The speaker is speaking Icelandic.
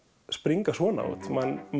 springa svona út mann